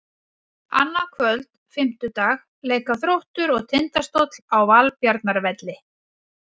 Annað kvöld, fimmtudag, leika Þróttur og Tindastóll á Valbjarnarvelli.